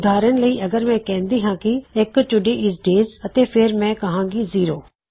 ਉਦਾਹਰਨ ਲਈ ਅਗਰ ਮੈਂ ਕਹਿੰਦਾ ਹਾਂ ਕੀ ਐੱਕੋ ਅੱਜ ਡੇਜ ਹੈ ਅਤੇ ਫੇਰ ਮੈਂ ਕਿਹ ਸਕਦਾ ਹਾਂ ਜ਼ੀਰੋ